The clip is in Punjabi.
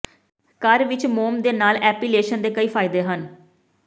ਘਰ ਵਿਚ ਮੋਮ ਦੇ ਨਾਲ ਐਪੀਲੇਸ਼ਨ ਦੇ ਕਈ ਫਾਇਦੇ ਹਨ